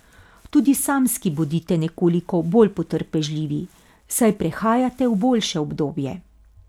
Tudi samski bodite nekoliko bolj potrpežljivi, saj prehajate v boljše obdobje.